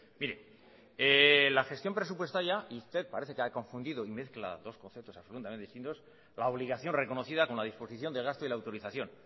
mire la gestión presupuestaria y usted parece que ha confundido y mezcla dos conceptos absolutamente distintos la obligación reconocida con la disposición de gasto y la autorización